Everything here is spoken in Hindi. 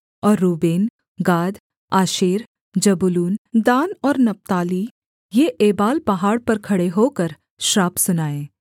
और Reuben Gad Asher Zebulun Dan और नप्ताली ये एबाल पहाड़ पर खड़े होकर श्राप सुनाएँ